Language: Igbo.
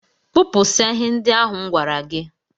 Kpụpụsịa ihe ndị ahụ m gwara gi